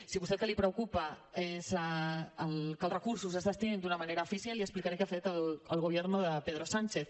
si a vostè el que li preocupa és que els recursos es destinin d’una manera eficient li explicaré què ha fet el gobierno de pedro sánchez